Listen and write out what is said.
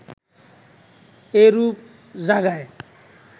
এরূপ জায়গায়